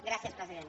gràcies president